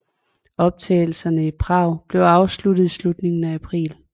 Optagelserne i Prag blev afsluttet i slutningen af april